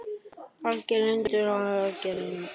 Er algert leyndarmál hvað þú varst að gera í nótt?